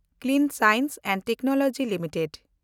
ᱥᱟᱯᱷᱟ science and technology limited